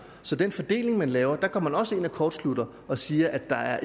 så den fordeling man laver går man også ind og kortslutter og siger at der er